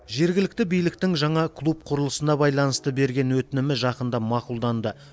жергілікті биліктің жаңа клуб құрылысына байланысты берген өтінімі жақында мақұлданды